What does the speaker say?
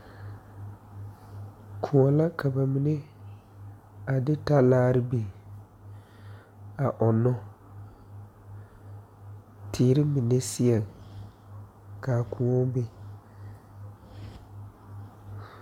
Kõɔ la ka ba mine a de talaare biŋ a ɔŋnɔ teere mine seɛ kaa kõɔ be.